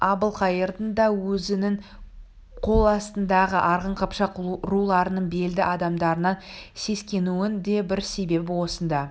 әбілқайырдың да өзінің қол астындағы арғын қыпшақ руларының белді адамдарынан сескенуінің де бір себебі осында